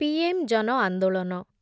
P M ଜନଆନ୍ଦୋଳନ